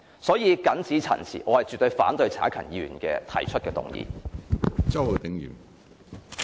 我謹此陳辭，絕對反對陳克勤議員提出的議案。